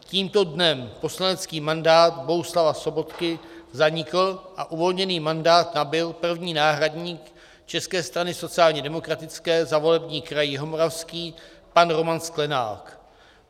Tímto dnem poslanecký mandát Bohuslava Sobotky zanikl a uvolněný mandát nabyl první náhradník České strany sociálně demokratické za volební kraj Jihomoravský pan Roman Sklenák.